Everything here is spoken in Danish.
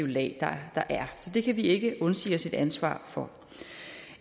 lag der er så det kan vi ikke undsige os et ansvar for